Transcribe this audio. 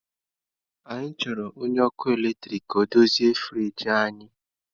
Anyị chọrọ onye ọkụ eletrik ka ọ dozie friji anyị